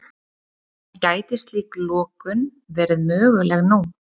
En gæti slík lokun verið möguleg nú?